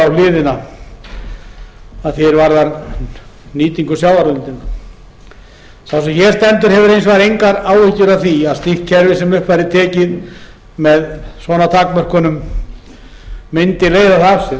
á hliðina að því er varðar nýtingu sjávarauðlindarinnar sá sem hér stendur hefur hins vegar engar áhyggjur af því að slíkt kerfi sem upp væri tekið með svona takmörkunum mundi leiða það af sér en það